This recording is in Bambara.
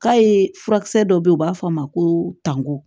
K'a ye furakisɛ dɔ bɛ yen u b'a fɔ a ma ko tanku